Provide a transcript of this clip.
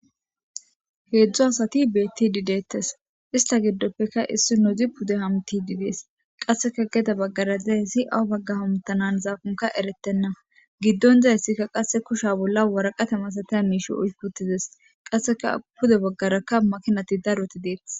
Hedzdzu asati bettidi ista giddoppe issoy pudde hamuttidi de'es qasekka gedde baggara dizayssi awa baggara hamutanakokka erettenna giddon dizayssi qasekka kushshan waraqata masatiz miishshe oykii uuttides qasekka pudde baggarakka maakinatti daro de'ettes.